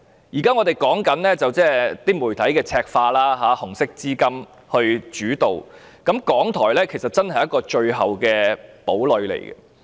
現時，我們關注媒體赤化及"紅色資金"主導的情況，而港台是最後一個堡壘。